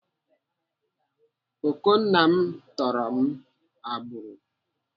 Okonna m tụrụ m agbụrụ.